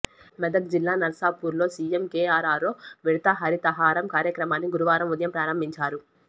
మెదక్ జిల్లా నర్సాపూర్ లో CM KR ఆరో విడత హరితహారం కార్యక్రమాన్ని గురువారం ఉదయం ప్రారంభించారు